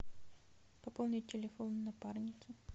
пополнить телефон напарницы